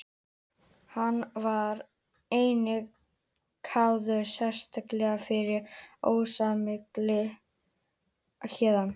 Hann var einnig kærður sérstaklega fyrir ósæmilega hegðun.